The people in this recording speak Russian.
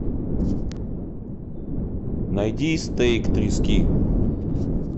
найди стейк трески